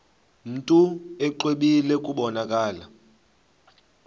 mntu exwebile kubonakala